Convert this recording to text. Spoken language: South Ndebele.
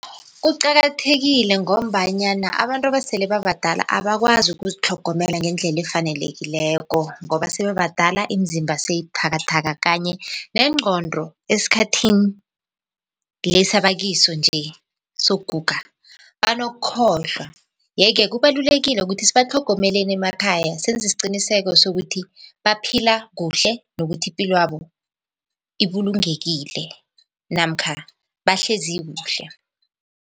Kuqakathekile ngombanyana abantu abasele babadala abakwazi ukuzitlhogomela ngendlela efanelekileko, ngoba sebabadala imizimba seyibuthakathaka kanye nengqondo esikhathini lesi abakiso nje sokuguga banokukhohlwa. Yeke kubalulekile ukuthi sibatlhogomeleni emakhaya senze isiqiniseko sokuthi baphila kuhle nokuthi ipilwabo ibulungekile namkha bahlezi kuhle.